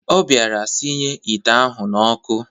Ọ bịara sinye ite ahụ n'ọkụ